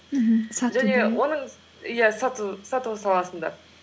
мхм иә сату саласында